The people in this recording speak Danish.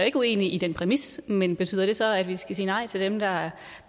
ikke uenig i den præmis men betyder det så at vi skal sige nej til dem